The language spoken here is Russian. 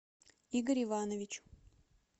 игорь иванович